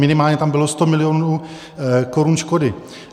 Minimálně tam bylo 100 milionů korun škody.